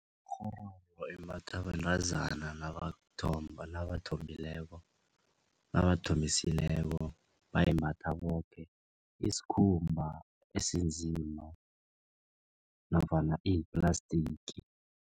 Ikghororo imbathwa bentazana nabayokuthomba nabathombileko nabathombisileko bayimbatha boke isikhumba esinzima nofana iyiplastiki.